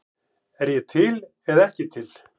Er ég til eða ekki til?